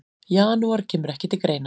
Janúar kemur ekki til greina.